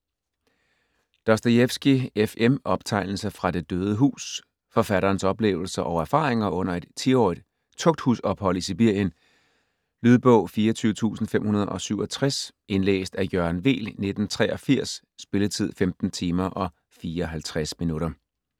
Dostojevskij, F. M.: Optegnelser fra det døde hus Forfatterens oplevelser og erfaringer under et 10-årigt tugthusophold i Sibirien. Lydbog 24567 Indlæst af Jørgen Weel, 1983. Spilletid: 15 timer, 54 minutter.